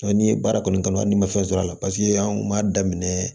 Ɔ n'i ye baara kɔni kanu hali n'i ma fɛn sɔrɔ a la paseke an kun m'a daminɛ